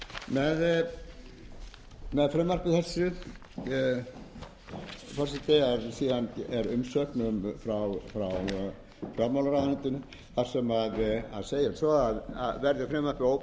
leiga er tekin fyrir þær aflaheimildir með frumvarpi þessu forseti er umsögn frá fjármálaráðuneytinu þar sem segir svo að verði frumvarpið óbreytt að